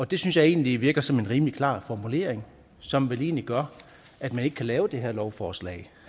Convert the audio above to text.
det synes jeg egentlig virker som en rimelig klar formulering som vel egentlig gør at man ikke kan lave det her lovforslag